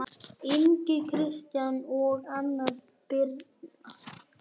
Inga Kristín og Anna Birna